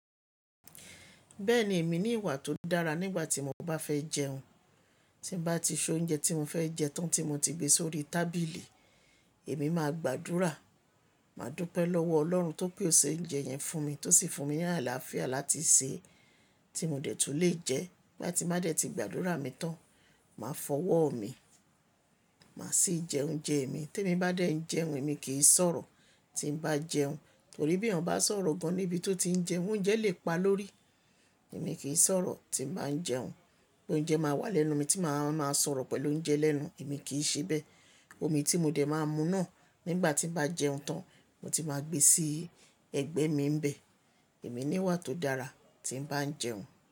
Bẹ́ẹ̀ni èmi ní ìwà tó dára nígbà tí mo bá fẹ́ jẹun. Tí bá ti so oúnjẹ tí mo fẹ́ jẹ tán tí mo ti gbé sórí tábìlì, èmi máa gbàdúrà, máa dúpẹ́ lọ́wọ́ Ọlọ́run tó pé o ṣe oúnjẹ yẹn fún mi, tó sì fún mi ní àlàáfíà láti sè é tí mo dẹ̀ tun lè jẹ ẹ́. Nígbà tí máa dẹ̀ ti gbàdúrà mi tán, màá fọwọ́ mi, màá sì jẹ oúnjẹ mi. Tí èmi bá dẹ̀ ń jẹun, èmi kì í sọ̀rọ̀ tí ń bá jẹun, torí bí èèyàn bá sọ̀rọ̀ gan níbi tó ti ń jẹun, oúnjẹ lè pa lórí. Èmi kì í sọ̀rọ̀ tí ń bá ń jẹun, pé oúnjẹ máa wà lẹ́nu mi tí màá máa sọ̀rọ̀ pẹ̀lú oúnjẹ lẹ́nu, èmi kì í ṣe bẹ́ẹ̀. Omi tí mo dẹ̀ máa mú náà nígbà tí bá jẹun tán, mo ti máa gbé sí ẹ̀gbẹ́ mi ń bẹ. Èmi ní ìwà tó dára tí ń bá ń jẹun.